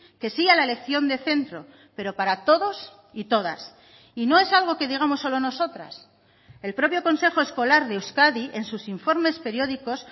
que sí a la elección de centro pero para todos y todas y no es algo que digamos solo nosotras el propio consejo escolar de euskadi en sus informes periódicos